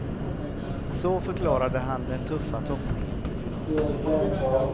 Så förklarade han den tuffa toppningen i finalen.